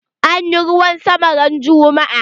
Anyi ruwan sama ran juma'a.